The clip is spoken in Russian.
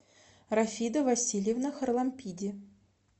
рафида васильевна харлампиди